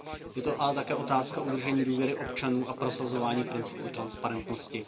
Je to ale také otázka udržení důvěry občanů a prosazování principu transparentnosti.